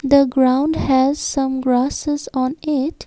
The ground has some grasses on it.